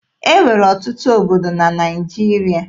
E nwere ọtụtụ obodo na Naịjirịa.